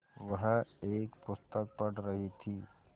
वह एक पुस्तक पढ़ रहीं थी